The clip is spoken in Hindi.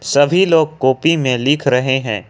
सभी लोग कॉपी में लिख रहे हैं।